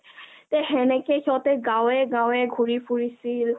তে হেনেকে সিহঁতে গাৱে গাৱে ঘূৰি ফুৰিছিল মানুহবোৰোক